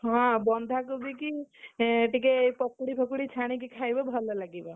ହଁ, ବନ୍ଧାକୋବି କି, ଟିକେ ପକୁଡି ଫକୁଡି ଛାଣିକି ଖାଇବ ଭଲ ଲାଗିବ।